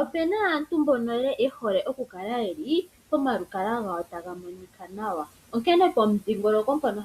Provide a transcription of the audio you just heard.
Opuna aantu mbono ye hole oku kala pomalukalwa gawo taga monika nawa, onkene pomudhingoloko mpono